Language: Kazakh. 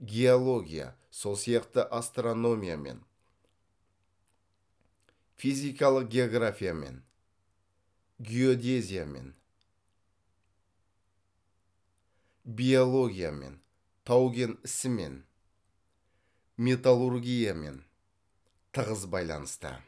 геология сол сияқты астрономиямен физикалық географиямен геодезиямен биологиямен тау кен ісімен металлургиямен тығыз байланысты